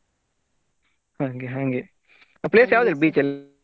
ಹಂಗೆ ಹಂಗೆ place ಯಾವ್ದು beach ಅಲ್ಲಿ.